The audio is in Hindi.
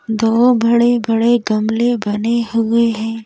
दो बड़े-बड़े गमले बने हुए हैं।